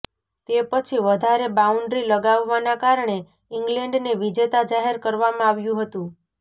તે પછી વધારે બાઉન્ડ્રી લગાવવાના કારણે ઈંગ્લેન્ડને વિજેતા જાહેર કરવામાં આવ્યું હતુ